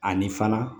Ani fana